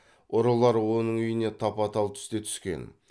ұрылар оның үйіне тапа тал түсте түскен